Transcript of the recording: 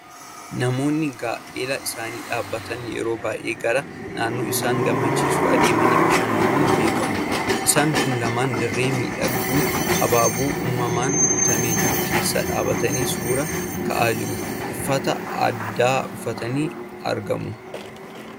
Namoonni gaa'ela isaanii dhaabbatan yeroo baay'ee gara naannoo isaan gammachiisu adeemanii bashannanuun beekamu. Isaan kun lamaan dirree miidhagduu, habaaboo uumamaan guutamee jiru keessa dhaabatanii suuraa ka'aa jiru! Uffata aadaa uffatanii argamu.